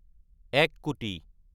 এক কোটি